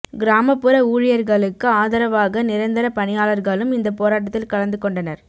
கிராமப்புற ஊழியர்களுக்கு ஆதரவாக நிரந்தர பணியாளர்களும் இந்தப் போராட்டத்தில் கலந்து கொண்டனர்